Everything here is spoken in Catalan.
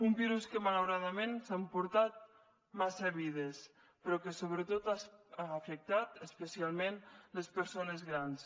un virus que malauradament s’ha emportat massa vides però que sobretot ha afectat especialment les persones grans